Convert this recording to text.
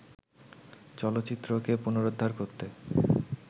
চলচ্চিত্রকে পুনরুদ্ধার করতে